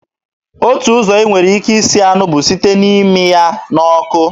Otu ụzọ ị nwere ike isi anụ bụ site na-ịmị ya n'ọkụ